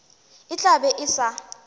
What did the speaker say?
e tla be e sa